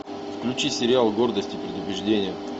включи сериал гордость и предубеждение